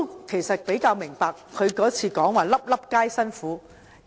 其實，我較能明白他上次說"粒粒皆辛苦"的意思。